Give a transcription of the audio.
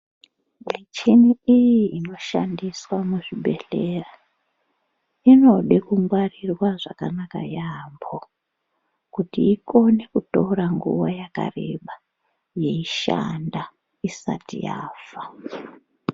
Michini iyi inoshandiswa muzvibhedhlera inode kungwarirwa zvakanaka yaampo kuti ikone kutora nguwa yakareba yeishanda isati yafa.